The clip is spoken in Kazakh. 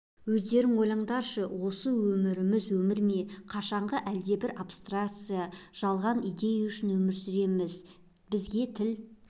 өздерің ойлаңдаршы осы өміріміз өмір ме қашанғы әлдебір абстракция жалған идея үшін өмір сүреміз бізге тіл